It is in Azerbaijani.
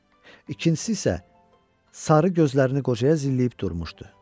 İkincisi isə sarı gözlərini qocaya zilləyib durmuşdu.